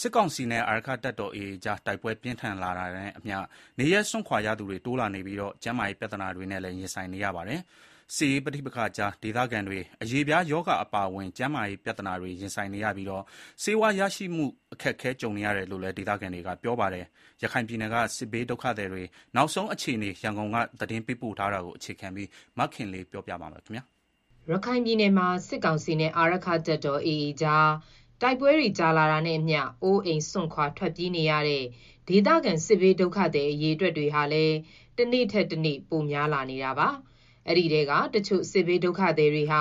စစ်ကောင်စီနဲ့ အာရက္ခတပ်တော် AA ကြား တိုက်ပွဲပြင်းထန်နေတာနဲ့အမျှ နေရပ်စွန့်ခွာရသူတွေ တိုးလာနေပြီး ကျန်းမာရေး ပြဿနာတွေနဲ့လည်း ရင်ဆိုင်နေရပါတယ်။ စစ်ရေးပဋိပက္ခကြားမှာ ဒုက္ခသည်တွေဟာ အရေပြားရောဂါအပါအဝင် ကျန်းမာရေးပြဿနာတွေ ရင်ဆိုင်နေရပြီး ဆေးဝါးရရှိဖို့ အခက်ကြုံနေရတယ်လို့လည်း ဒေသခံတွေက ပြောပါတယ်။ ရခိုင်ပြည်နယ်က စစ်ဘေးဒုက္ခသည်တွေ နောက်ဆုံးအခြေအနေ ရန်ကုန်က သတင်းပေး ပို့ထားတာကို အခြေခံပြီး မခင်လေး တင်ပြထားပါတယ်။ ရခိုင်ပြည်နယ်မှာ စစ်ကောင်စီနဲ့ အာရက္ခတပ်တော် AA ကြား တိုက်ပွဲတွေကြာရှည်လာတာနဲ့အမျှ အိုးအိမ်စွန့်ခွာထွက်ပြေးနေရတဲ့ ဒေသခံစစ်ဘေးဒုက္ခသည်အရေအတွက်ဟာလည်း တနေ့ထက်တနေ့ ပိုများလာနေတာပါ။ အဲဒီထဲကတချို့စစ်ဘေးဒုက္ခသည်တွေဟာ